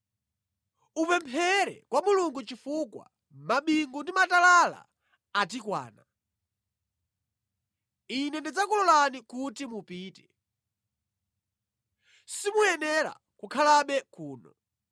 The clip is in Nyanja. Upemphere kwa Mulungu chifukwa mabingu ndi matalala atikwana. Ine ndidzakulolani kuti mupite. Simuyenera kukhalabe kuno.”